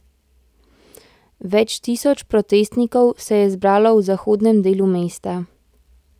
Več tisoč protestnikov se je zbralo v zahodnem delu mesta.